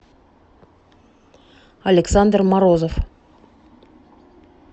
александр морозов